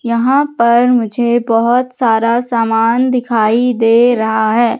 यहां पर मुझे बहोत सारा सामान दिखाई दे रहा है।